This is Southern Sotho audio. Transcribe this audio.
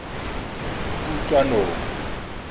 kutlwanong